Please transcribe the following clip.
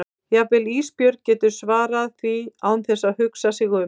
Jafnvel Ísbjörg getur svarað því án þess að hugsa sig um.